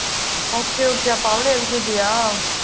okay, okay அப்ப, அவளும் LKG யா?